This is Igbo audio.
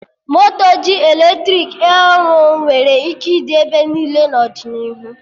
Moto ji eletrik aey ọrụ nwere ike ịdị ebe niile n'ọdịnihu